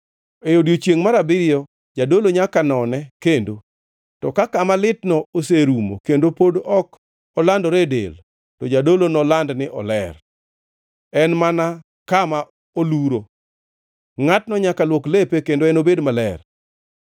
E odiechiengʼ mar abiriyo jadolo nyaka none kendo, to ka kama litno oserumo kendo pod ok olandore e del, to jadolo noland ni oler; en mana kama oluro. Ngʼatno nyaka luok lepe, kendo enobed maler.